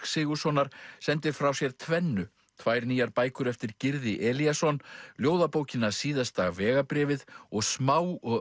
Sigurðssonar sendir frá sér tvennu tvær nýjar bækur eftir Gyrði Elíasson ljóðabókina síðasta vegabréfið og smá og